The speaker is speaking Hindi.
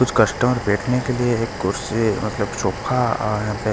कुछ कस्टमर बेटने के लिए एक कुर्सी मतलब सोफा यहाँ पे --